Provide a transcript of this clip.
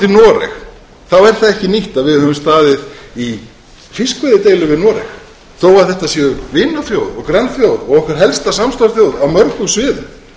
noreg þá er það ekki nýtt að við höfum staðið í fiskveiðideilu við noreg þó að þetta sé vinaþjóð og grannþjóð og okkar helsta samstarfsþjóð á mörgum sviðum